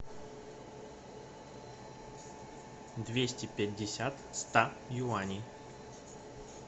двести пятьдесят ста юаней